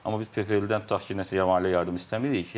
Amma biz PFL-dən tutaq ki, nəsə maliyyə yardım istəmirik.